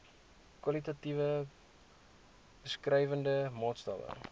kwalitatiewe beskrywende maatstawwe